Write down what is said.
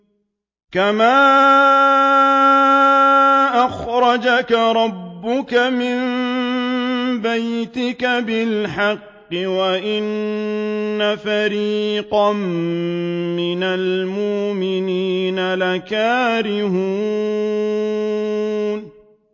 كَمَا أَخْرَجَكَ رَبُّكَ مِن بَيْتِكَ بِالْحَقِّ وَإِنَّ فَرِيقًا مِّنَ الْمُؤْمِنِينَ لَكَارِهُونَ